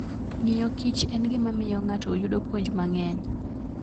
Ng'iyokich en gima miyo ng'ato yudo puonj mang'eny.